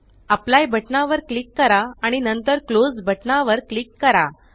apply बटना वर click करा आणि नंतर क्लोज बटना वर क्लिक करा